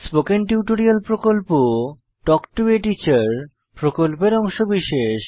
spoken tutorial প্রকল্প talk to a teacher প্রকল্পের অংশবিশেষ